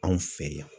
Anw fɛ yan